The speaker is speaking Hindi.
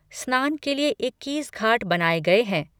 स्नान के लिए इक्कीस घाट बनाये गए हैं।